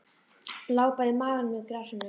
Lá bara á maganum í grasinu.